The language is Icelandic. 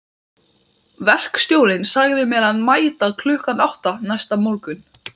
Verkstjórinn sagði mér að mæta klukkan átta næsta morgun.